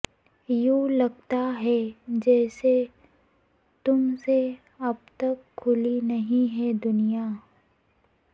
یوںلگتاہے جیسے تم سے اب تک کھلی نہیں ہے دنیا